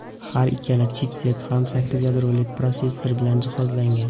Har ikkala chipset ham sakkiz yadroli protsessorlar bilan jihozlangan.